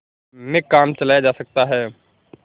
में काम चलाया जा सकता है